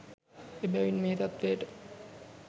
එබැවින් මේ තත්ත්වයට